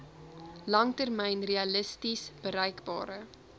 langtermyn realisties bereikbare